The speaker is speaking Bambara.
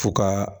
Fo ka